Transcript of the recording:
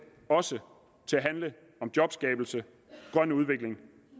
også til at handle om jobskabelse grøn udvikling